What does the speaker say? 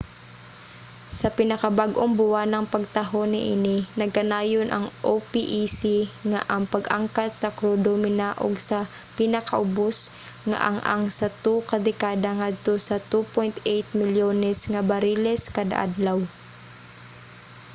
sa pinakabag-ong buwanang pagtaho niini nagkanayon ang opec nga ang pag-angkat sa krudo ninaog sa pinakaubos nga ang-ang sa 2 ka dekada ngadto sa 2.8 milyones nga bariles kada adlaw